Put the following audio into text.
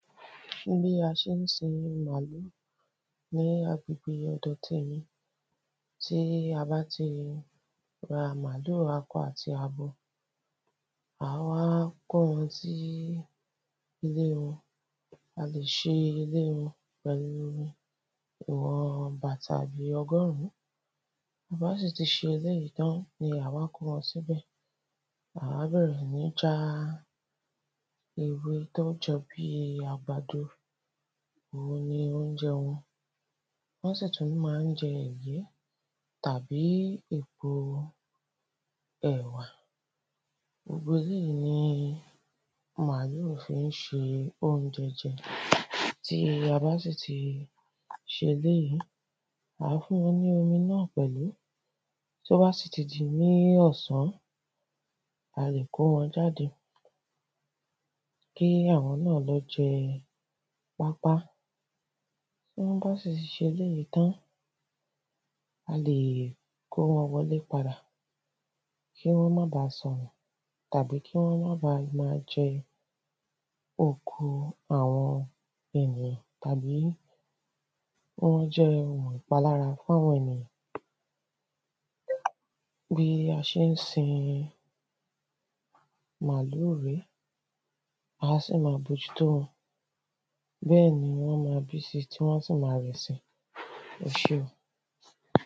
bí a n sé sin màlúù, ní agbègbè ọ̀dọ témi, tí a bá ti ra màlúù, akọ ati abo, ǎ wá kó wọn sí ilé wọn, a lè se ilé wọn pẹ̀lú ìwọn bàtà bí ọgọ̀rǔn, ta bá sì ti se eléyìí tán ni ǎ wá kó wọn síbẹ̀, ǎ wá bẹ̀rẹ̀ sí ní já ewé tó jọ bíi àgbàdo, òun ni oúnjẹ wọn, wọ́n sì tún má n jẹ ẹ̀gẹ́ tàbí èpo ẹ̀wà, gbogbo eléyìí ní màlúù fí n se oúnjẹ jẹ tí a bá sì ti se eléyìí, ǎ fún wọn ní omi náà pẹ̀lú, tó bá sì ti di ní ọ̀sán, a lè kó wọn jáde, kí àwọn náà lọ jẹ pápá, tí wọ́n bá sì ti se eléyìí tán, a lè kó wọn wọlé padà, kí wọ́n maà ba sọnù, tàbí kí wọ́n ma bàá jẹ oko àwọn ènìyàn, tàbí kí wọ́n jẹ́ oun ìpalára fún àwọn ènìyàn, bí a n sé sin màlúù rèé, á sì ma mójú tó wọn, bẹ́ẹ̀ ni wọ́n ma bí si tí wọ́n sì ma rẹ̀ si, ẹseun.